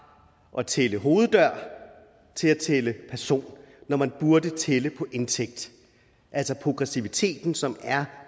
at tælle hoveddøre til at tælle personer når man burde tælle på indtægt altså progressiviteten som er